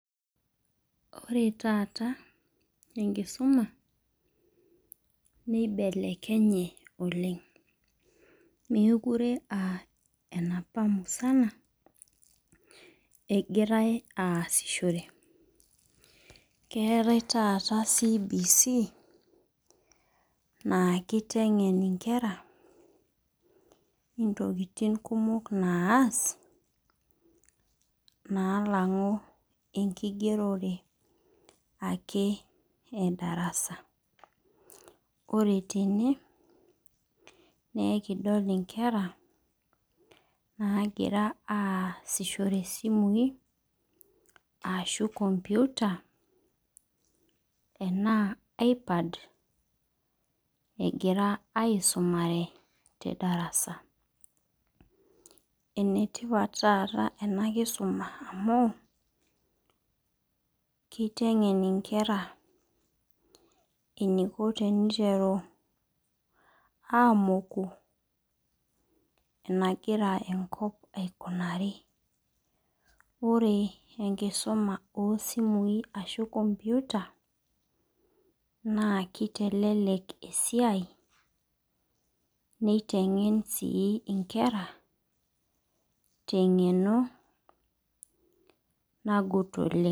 Ore taata enkisuma nibelekenye oleng. Mekure ah enapa musana egirae asishore keataae taata CBC naa kitengen inkera intokitin kumok naas nalangu ekigerore ake te darasa. Ore tene nekidol inkera nagira asishore isimui ashu computer enaa iPad egira aisumare te darasa . Enetipat taata ena te darasa amu, kitengen inkera eniko teneiteru amoku enagira enkop aikunari. Ore enkisuma oo simui ashu computer naa kitelelek esiai nitengen sii inkera te ngeno nagut oleng.